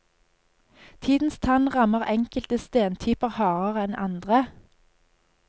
Tidens tann rammer enkelte stentyper hardere enn andre.